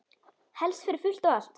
Helst fyrir fullt og allt.